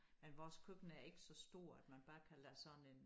Men vores køkken er ikke så stort man bare kan lade sådan en